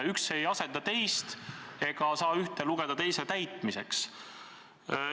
Üks ei asenda teist ega saa ühte lugeda teise täitmiseks.